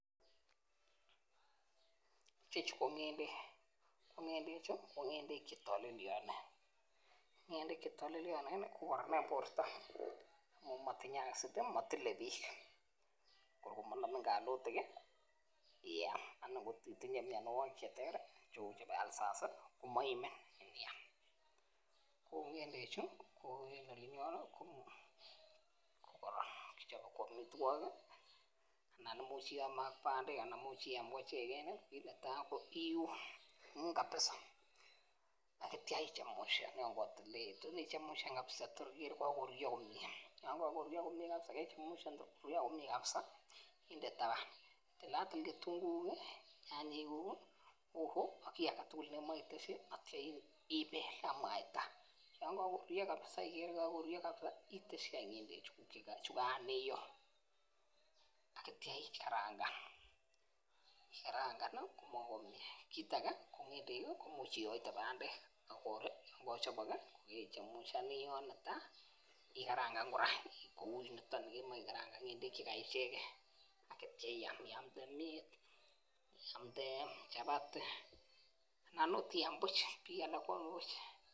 Chechuk ko ng'endek chetalelio ako kararan eng borto matinye [acid] Matile bich borto korkomanamin kalutik ii iam anan kotinye myanwokik cheter ter kou [ulcers] yakakiam ak bandek anan kokeam koichegen kit netai kokiun kabisa atya ichamushan kabisa tor kururyo atyam inde taban ak tilatil tunguuk ak nyanyek atya ipel ak mwaita inde chumbik ak mukandek chukan kanio atya ikarangan korurio atya imuche kora kiyoita bandek kechemushan atyam ikarangan kora atya iam kora iamde mnyet anan akot iam buch